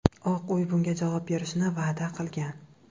Oq uy bunga javob berishni va’da qilgan.